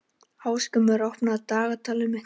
Ásgrímur, opnaðu dagatalið mitt.